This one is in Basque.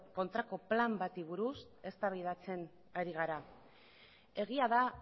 kontrako plan bati buruz eztabaidatzen ari gara egia da